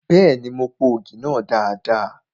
Bẹ́ẹ̀ni, mo po ògì náà dada.